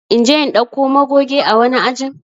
In je in dauko magoge ã wani ajin?